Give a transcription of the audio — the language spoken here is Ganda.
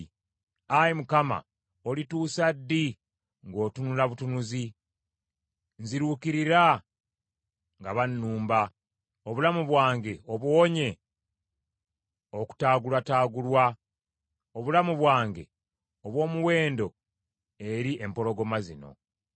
Ayi Mukama, olituusa ddi ng’otunula butunuzi? Nziruukirira nga bannumba, obulamu bwange obuwonye okutaagulwataagulwa, obulamu bwange obw’omuwendo eri empologoma zino.